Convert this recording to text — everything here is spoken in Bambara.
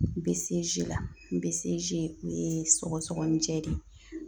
N bɛ la n bɛ o ye sɔgɔsɔgɔnijɛ de ye